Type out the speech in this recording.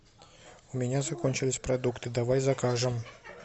у меня закончились продукты давай закажем